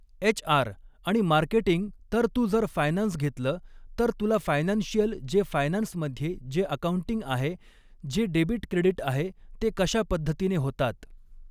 HR आणि marketing तर तू जर फायनान्स घेतलं तर तुला फायनान्शिअल जे फायनान्समध्ये जे अकाऊंटिंग आहे जे डेबिट क्रेडिट आहे ते कशा पद्धतीने होतात